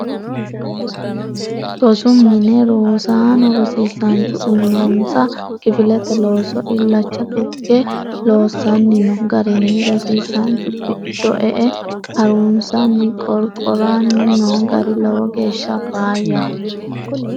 Rosu mine rosaano rosiisanchu uyinonsa kifilete loosso illacha tuge loossanni no garinna rosiisanchu giddo e"e harunsanni qorqorani no gari lowo geeshsha faayyaho.